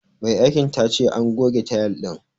Mai aikin ta ce an goge tayil din.